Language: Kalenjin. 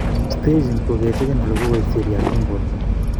Staging kokecheken ele kokoit seriat en borto